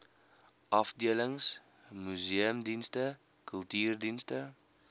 afdelings museumdienste kultuurdienste